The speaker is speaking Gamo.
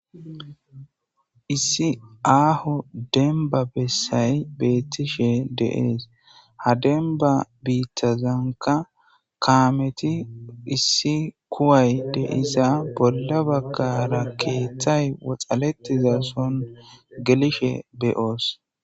Issi aaho denba bessay beettishe deees ha demba biittazanka kaameti issi kuway deiza bolla baggara keeththay woxaletiza son gelishe beyoos.